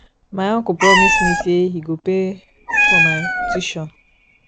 my uncle promise me say he go pay for my tuition